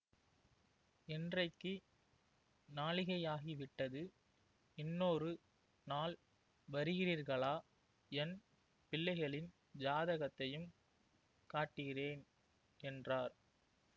இன்றைக்கு நாழிகையாகிவிட்டது இன்னொரு நாள் வருகிறீர்களா என் பிள்ளைகளின் ஜாதகத்தையும் காட்டுகிறேன் என்றார்